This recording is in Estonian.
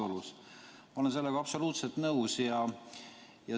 Ma olen sellega absoluutselt nõus.